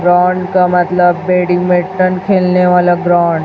Ground का मतलब badminton खेलने वाला ग्राउंड ।